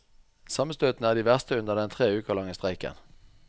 Sammenstøtene er de verste under den tre uker lange streiken.